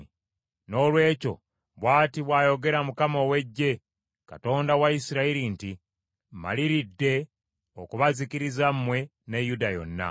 “Noolwekyo, bw’ati bw’ayogera Mukama ow’Eggye, Katonda wa Isirayiri nti, Mmaliridde okubazikiriza mmwe ne Yuda yonna.